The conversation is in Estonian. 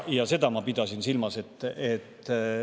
Seda ma pidasin silmas.